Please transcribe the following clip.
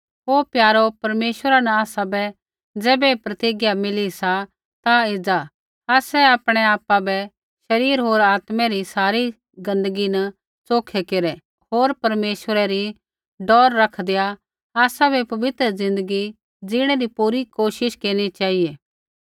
ओ प्यारो परमेश्वरा न आसाबै ज़ैबै ऐ प्रतिज्ञा मिली सा ता एज़ा आसै आपणै आपु बै शरीर होर आत्मै री सारी गंदगी न च़ोखै केरै होर परमेश्वरै री डौर रखदैआ आसाबै पवित्र ज़िन्दगी ज़ीणै री पूरी कोशिश केरनी चेहिऐ